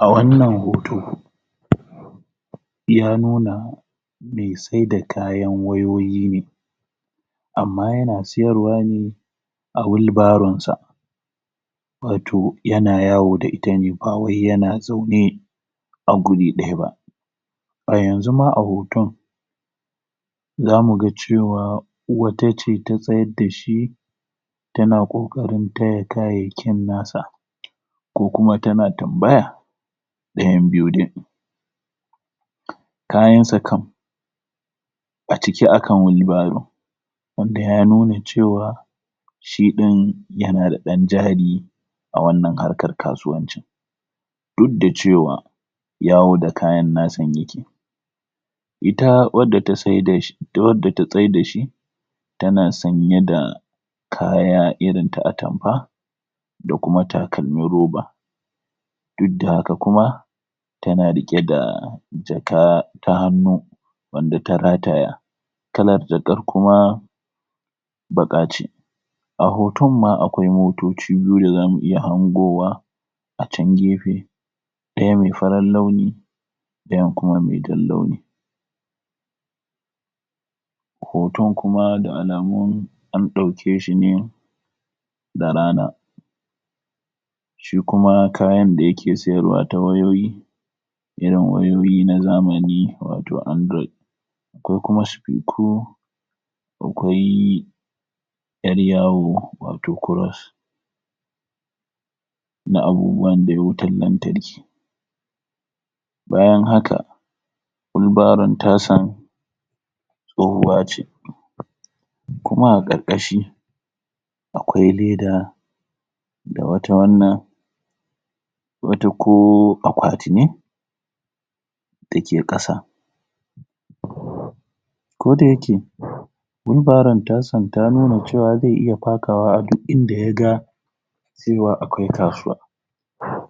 a wannan hoto ya nuna mai saida kayan wayoyi ne amma yan siyarwa ne a wheel barrownsa wato yan yawo da ita ne bawai yana zaune a guri ɗaya ba a yanzu ma a hoton za muga cewa wata ce ta tsayad dashi tana ƙoƙarin taya kayayyakin nasa ko kuma tana tambaya ɗayan biyu dai kayansa kam a ciki a kan wheel barrow wanda ya nuna cewa shi ɗin yanada ɗan jari a wannan harkar kasuwancin dukda cewa yawo da kayan nasa ita wadda ta tsai dashi duk wadda ta tsaidashi tana sanyeda kaya irinta atamfa da kuma takalmin roba dukda haka kuma tana riƙe da jaka ta hannu wanda ta rataya kala jakar kuma baƙa ce a hotonma akwai motoci biyu dazamu iya hangowa a can gefe ɗaya mai farar launi ɗayan kuma mai jan launi hoton kuma da alamun an ɗaukeshi ne da rana shi kuma kayan da yake siyarwa ta wayoyi irin wayoyi na zamani wato android ko kuma sifiku akwai ƴar yawo wato cross na abubuwandai wutar lantarki bayan haka wheel barrown tasan tsohuwa ce kuma a ƙarƙashi akwai leda da wata wannan wata ko akwati ne dake ƙasa koda yake wheel barrown tasan ta nuna cewa zai iya fakawa a duk inda yaga cewa akwai kasuwa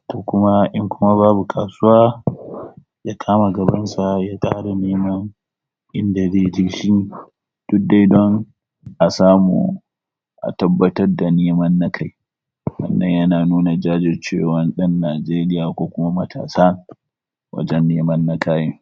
ko kuma in babu kasuwa ya kama gabansa ya dawo da neman inda zaije shi duk dai dan a samu a tabbatar da neman na kai wannan yana nuna jajircewan ƴan Nigeria ko kuma matasa wajen neman na kai